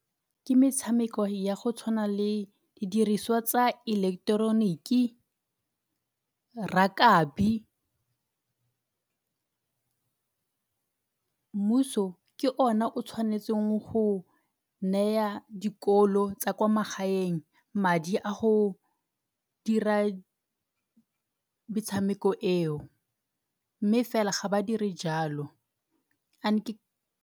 Ke metshameko ya go tshwana le didiriswa tsa eleketeroniki, rakabi mmuso ke ona o tshwanetseng go neya dikolo tsa kwa magaeng madi a go dira metshameko eo, mme fela ga ba diri jalo .